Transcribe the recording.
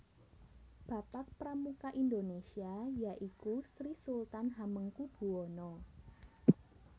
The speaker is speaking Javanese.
Bapak Pramuka Indonesia ya iku Sri Sultan Hamengkubuwono